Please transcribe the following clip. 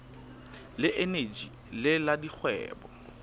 le eneji le la dikgwebo